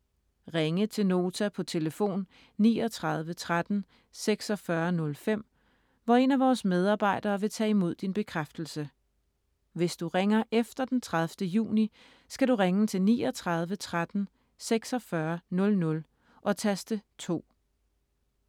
Ringe til Nota på telefon 39 13 46 05, hvor en af vores medarbejdere vil tage imod din bekræftelse. Hvis du ringer efter den 30. juni, skal du ringe til 39 13 46 00 og taste 2.